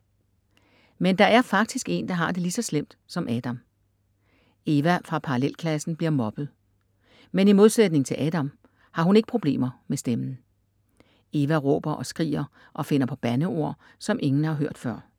Men der er faktisk en, der har det lige så slemt som Adam. Eva fra parallelklassen bliver mobbet. Men i modsætning til Adam har hun ikke problemer med stemmen. Eva råber og skriger og finder på bandeord, som ingen har hørt før.